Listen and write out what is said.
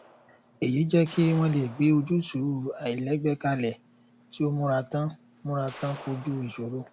èyí jẹ kí wọn lè gbé ojútùú àláìlẹgbẹ kalẹ tí ó múra tán múra tán kójú ìṣòro